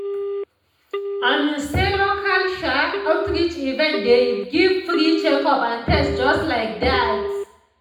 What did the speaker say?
i mean say local um outreach events dey give free checkup and test just like that.